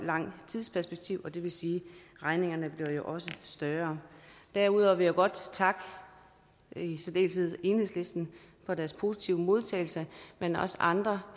langt tidsperspektiv og det vil sige at regningerne jo også større derudover vil jeg godt takke i særdeleshed enhedslisten for deres positive modtagelse men også andre